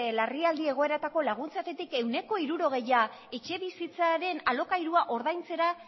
larrialdi egoeretako laguntzetatik ehuneko hirurogeia etxebizitzaren alokairua ordaintzera